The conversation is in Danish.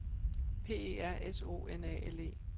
P E R S O N A L E